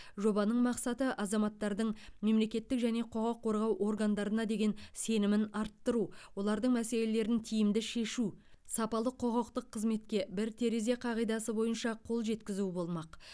жобаның мақсаты азаматтардың мемлекеттік және құқық қорғау органдарына деген сенімін арттыру олардың мәселелерін тиімді шешу сапалы құқықтық қызметке бір терезе қағидасы бойынша қол жеткізу болмақ